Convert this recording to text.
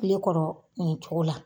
Tile kɔrɔ nin cogo la.